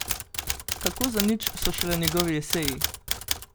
Kako zanič so šele njegovi eseji!